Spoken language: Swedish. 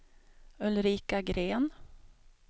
Ulrika Gren